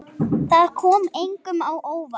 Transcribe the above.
Það kom engum á óvart.